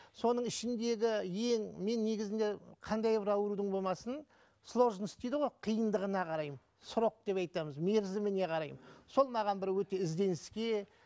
соның ішіндегі ең мен негізінде қандай бір аурудың болмасын сложность дейді ғой қиындығына қараймын срок деп айтамыз мерзіміне қараймын сол маған бір өте ізденіске